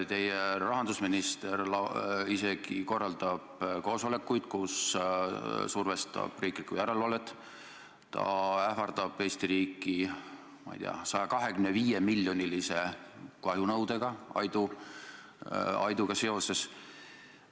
Teie rahandusminister isegi korraldab koosolekuid, kus survestab riiklikku järelevalvet, ta ähvardab Eesti riiki, ma ei tea, 125-miljonilise kahjunõudega Aiduga seoses.